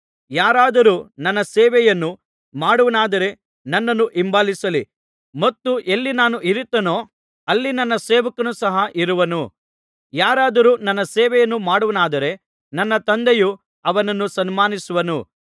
ಯಾರಾದರೂ ನನ್ನ ಸೇವೆಯನ್ನು ಮಾಡುವವನಾದರೆ ನನ್ನನ್ನು ಹಿಂಬಾಲಿಸಲಿ ಮತ್ತು ಎಲ್ಲಿ ನಾನು ಇರುತ್ತೇನೋ ಅಲ್ಲಿ ನನ್ನ ಸೇವಕನೂ ಸಹ ಇರುವನು ಯಾರಾದರೂ ನನ್ನ ಸೇವೆಯನ್ನು ಮಾಡುವವನಾದರೆ ನನ್ನ ತಂದೆಯು ಅವನನ್ನು ಸನ್ಮಾನಿಸುವನು